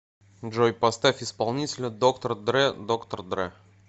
джой поставь исполнителя доктор дре доктор дре